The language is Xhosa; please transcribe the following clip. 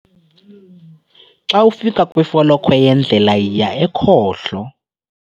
Xa ufika kwifolokhwe yendlela, yiya ekhohlo.